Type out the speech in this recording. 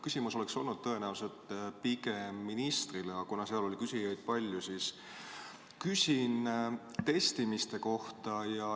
Küsimus oleks olnud tõenäoliselt pigem ministrile, aga kuna küsijaid oli palju, siis küsin teilt testimiste kohta.